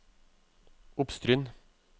Oppstryn